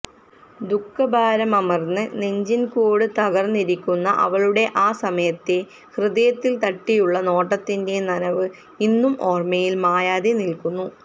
ദുഃഖഭാരമമർന്ന് നെഞ്ചിൻകൂട് തകർന്നിരിക്കുന്ന അവളുടെ ആ സമയത്തെ ഹൃദയത്തിൽ തട്ടിയുള്ള നോട്ടത്തിന്റെ നനവ് ഇന്നും ഓർമയിൽ മായാതെ നിൽക്കുന്നു